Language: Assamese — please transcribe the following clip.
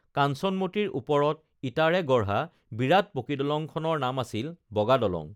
কাঞ্চনমতীৰ ওপৰত ইটাৰে গঢ়া বিৰাট পকীদলংখনৰ নাম আছিল বগা দলং